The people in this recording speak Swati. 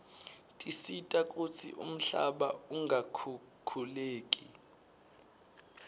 tisita kutsi umhlaba ungakhukhuleki